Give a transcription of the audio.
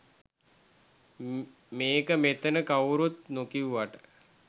මේක මෙතන කවුරුවත් නොකිව්වට